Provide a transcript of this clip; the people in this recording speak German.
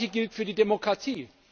Das gleiche gilt für die Demokratie.